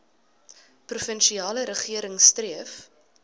provinsiale regering streef